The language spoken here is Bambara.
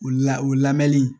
O la o lamɛnni